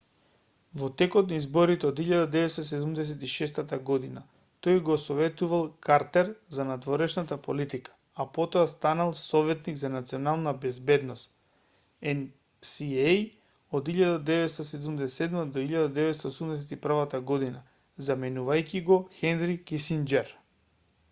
во текот на изборите од 1976 г. тој го советувал картер за надворешната политика а потоа станал советник за национална безбедност нса од 1977 до 1981 г. заменувајќи го хенри кисинџер